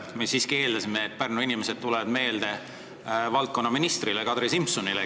Me siiski eeldasime, et Pärnu inimesed tulevad meelde valdkonnaminister Kadri Simsonile.